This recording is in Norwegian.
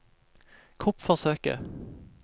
kuppforsøket